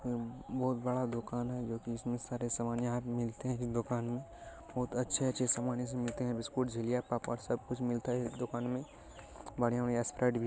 बहुत बड़ा दुकान है जो कि सारे सामान यहाँ पर मिलते है इस दुकान मे बहुत अच्छे-अच्छे सामान मिलते है बिस्किट पापड़ सब कुछ मिलता है इस दुकान में बढ़िया-बढ़िया